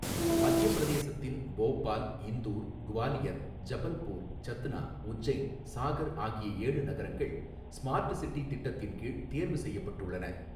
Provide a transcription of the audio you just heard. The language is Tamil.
மத்தியப் பிரதேசத்தின் போபால், இந்தூர், குவாலியர், ஜபல்பூர், சத்னா, உஜ்ஜைன், சாகர் ஆகிய ஏழு நகரங்கள் ஸ்மார்ட் சிட்டி திட்டத்தின் கீழ் தேர்வு செய்யப்பட்டுள்ளன.